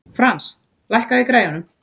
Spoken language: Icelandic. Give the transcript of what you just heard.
Frans, lækkaðu í græjunum.